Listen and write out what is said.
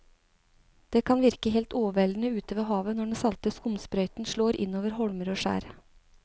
Det kan virke helt overveldende ute ved havet når den salte skumsprøyten slår innover holmer og skjær.